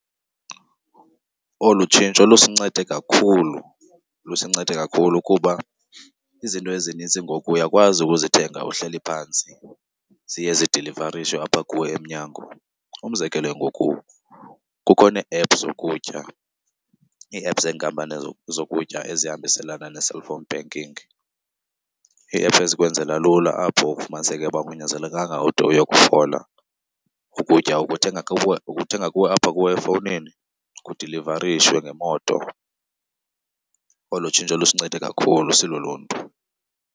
Olu tshintsho lusincede kakhulu, lusincede kakhulu kuba izinto ezinintsi ngoku uyakwazi ukuzithenga uhleli phantsi, ziye zidilivarishwe apha kuwe emnyango. Umzekelo ngoku kukho nee-ephu zokutya, iiephu zenkampani zokutya ezihambiselana ne-cellphone banking. Iiephu ezikwenzela lula apho ufumaniseke ukuba akunyanzelekanga ude uyokufola. Ukutya ukuthenga kuwe, ukuthenga kuwe apha kuwe efowunini kudilivarishwe ngemoto. Olo tshintsho lusincede kakhulu siluluntu.